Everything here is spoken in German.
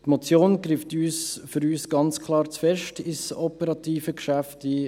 Die Motion greift für uns ganz klar zu stark ins operative Geschäft ein.